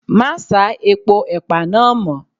Má sá epo ẹ̀pà náà mọ́.